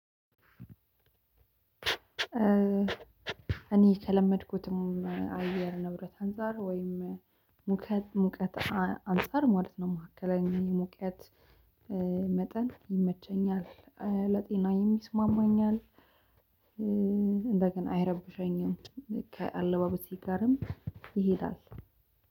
እኔ ከለመድኩትም አየር ንብረት አንፃር ወይም ሙቀት ሙቀት አንፃር ማለት ነው መካከለኛ የሙቀት መጠን ይመቸኛል። ለጤናዬም ይስማማኛል። እንደገና አይረብሼኝም። ከአለባበሴ ጋርም ይሄዳል።